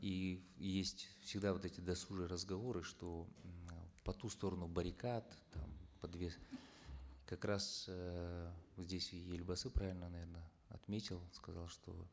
и есть всегда вот эти досужие разговоры что м э по ту сторону баррикад там по две как раз эээ ну здесь и елбасы правильно наверно отметил сказал что